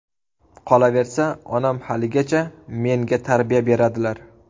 Qolaversa, onam haligacha menga tarbiya beradilar”.